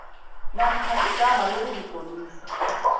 namkha igama lokuzitlolisa